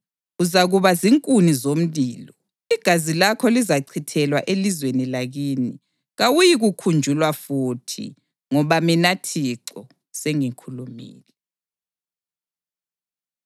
Uzakuba zinkuni zomlilo, igazi lakho lizachithelwa elizweni lakini, kawuyikukhunjulwa futhi; ngoba mina Thixo sengikhulumile.’ ”